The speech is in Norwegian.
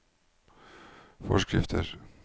forskrifter